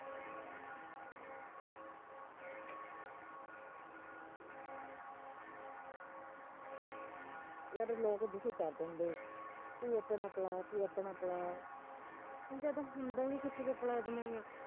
ਯਰ ਲੋਕ ਦੁਖੀ ਕਰ ਦਿੰਦੇ ਤੂੰ ਆਪਣਾ ਪਿਲਾ ਆਪਣਾ ਪਿਲਾ ਹੁਣ ਜਦ ਹੁੰਦਾ ਈ ਨੀ ਕਿੱਥੇ ਤੇ ਪਿਲਾ ਦਵਾ ਮੈਂ